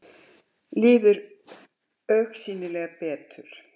Líður augsýnilega betur.